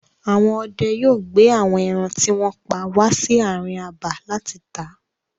Àwọn ọdẹ yóò gbé àwọn ẹran tí wọ́n pa wà sí àárín abà láti tà.